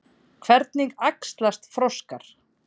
Hvernig æxlast froskar?